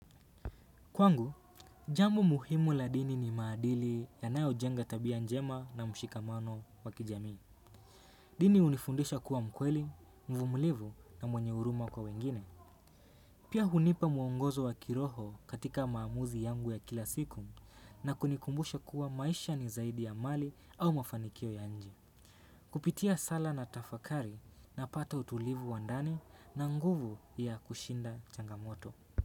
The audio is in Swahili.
Kwangu, jambo muhimu la dini ni maadili yanayojenga tabia njema na mshikamano wa kijamii. Dini hunifundisha kuwa mkweli, mvumulivu na mwenye huruma kwa wengine. Pia hunipa muongozo wa kiroho katika maamuzi yangu ya kila siku na kunikumbusha kuwa maisha ni zaidi ya mali au mafanikio ya nje. Kupitia sala na tafakari napata utulivu wa ndani na nguvu ya kushinda changamoto.